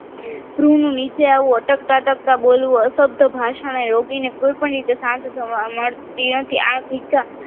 તરુણનું નીચે આવું અટકતા તથા બોલવું અશબ્દ ભાષાનો યોગીને કોઈ પણ રીતે શાંત થવા મળતી નથી આ શિક્ષા